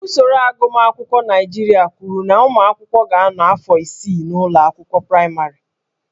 Usoro agụmakwụkwọ Naịjirịa kwuru na ụmụ akwụkwọ ga-anọ afọ isii n'ụlọ akwụkwọ praịmarị